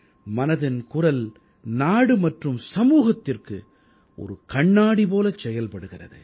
மனதின் குரல் நாடு மற்றும் சமூகத்திற்கு ஒரு கண்ணாடி போலச் செயல்படுகிறது